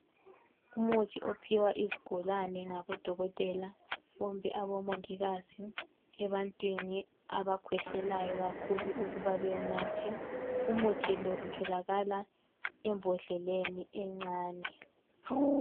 Umuthi ophiwa izigulane ngodokotela kumbe omongikazi ebantwini abakhwehlelayo kakhulu ukuba bewunathe. Umuthi lo utholakala embodleleni encane.